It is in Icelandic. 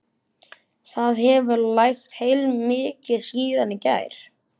Það hefur lægt heilmikið síðan í gær.